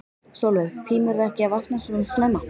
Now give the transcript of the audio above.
Sólveig: Tímirðu ekki að vakna svona snemma?